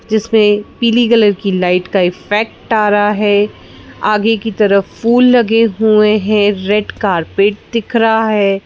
जिसमें पीली कलर की लाइट का इफ़ेक्ट आ रहा है आगे की तरफ फूल लगे हुए हैं रेड कारपेट दिख रहा है।